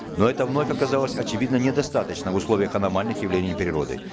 но это вновь оказалось очевидно недостаточно в условиях аномальных явлений природы